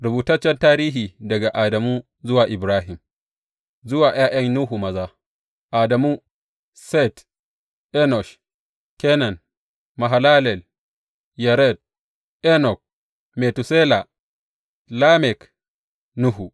Rubutaccen tarihi daga Adamu zuwa Ibrahim Zuwa ’Ya’yan Nuhu Maza Adamu, Set, Enosh, Kenan, Mahalalel, Yared, Enok, Metusela, Lamek, Nuhu.